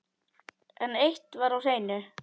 En eitt var á hreinu.